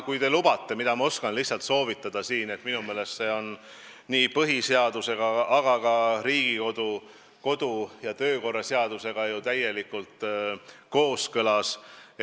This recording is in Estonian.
Kui te lubate, siis ma oskan teile lihtsalt soovitada ühte asja, mis minu meelest on nii põhiseadusega kui ka Riigikogu kodu- ja töökorra seadusega täielikult kooskõlas.